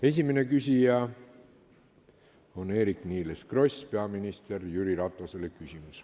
Esimene küsija on Eerik-Niiles Kross, küsimus on peaminister Jüri Ratasele.